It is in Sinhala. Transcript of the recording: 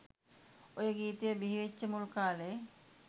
ඔය ගීතය බිහිවෙච්ච මුල් කාලෙ